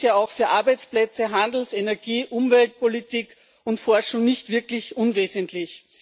Er ist ja auch für Arbeitsplätze, Handels Energie Umweltpolitik und Forschung nicht wirklich unwesentlich.